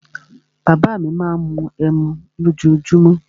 Bàbá à mi má ń mu ẹmu lójoojúmó.